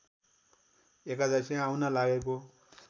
एकादशी आउन लागेको